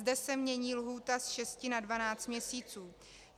Zde se mění lhůta z 6 na 12 měsíců.